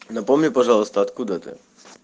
напомни пожалуйста откуда ты